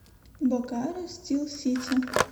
бокаро стил сити